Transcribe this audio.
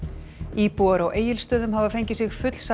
íbúar á Egilsstöðum hafa fengið sig fullsadda